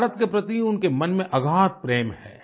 भारत के प्रति उनके मन में अगाध प्रेम है